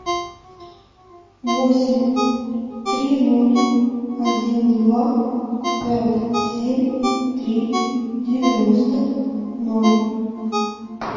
восемь три ноль один два пять семь три девяносто ноль